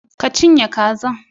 Ki cinye kazan